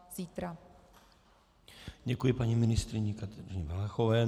Děkuji paní ministryni Kateřině Valachové.